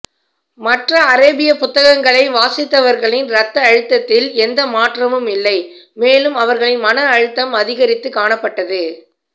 மற்ற அரேபிய புத்தங்களை வாசித்தவர்களின் இரத்த அழுத்ததில் எந்த மாற்றமும் இல்லை மேலும் அவர்களின் மன அழுத்தம் அதிகரித்து காணப்பட்டது